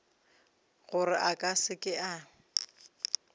gore a ka se ke